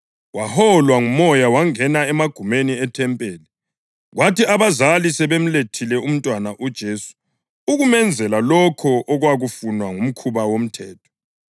Waholwa nguMoya wangena emagumeni ethempeli. Kwathi abazali sebemlethile umntwana uJesu ukumenzela lokho okwakufunwa ngumkhuba woMthetho,